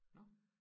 Nåh